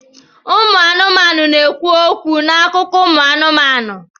Ụmụ anụmanụ na-ekwu okwu na akụkọ ụmụ anụmanụ.